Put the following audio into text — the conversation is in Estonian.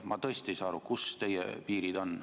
Ma tõesti ei saa aru, kus teie piirid on.